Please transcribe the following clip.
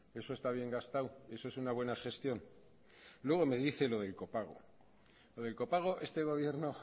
eso está bien gastado eso es una buena gestión luego me dice lo del copago lo del copago este gobierno